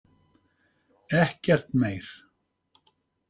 Ekkert meir.